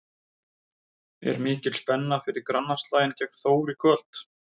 Er mikil spenna fyrir grannaslaginn gegn Þór í kvöld?